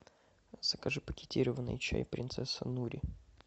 закажи пакетированный чай принцесса нури